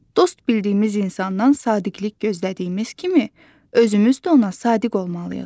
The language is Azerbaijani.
Dost bildiyimiz insandan sadiqlik gözlədiyimiz kimi, özümüz də ona sadiq olmalıyıq.